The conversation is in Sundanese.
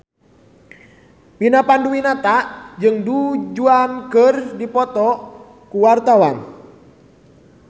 Vina Panduwinata jeung Du Juan keur dipoto ku wartawan